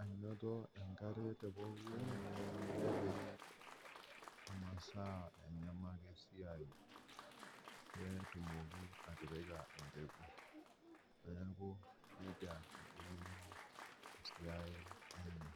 anoto enkare te pooki weji, nepik masaa enyemal esiai peetumoki atipika empeku, neaku neja eikununo esiai enye.